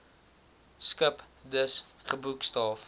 skip dus geboekstaaf